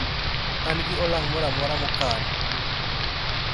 an gi olang' moramora mokan